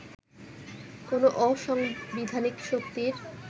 কোন অসাংবিধানিক শক্তির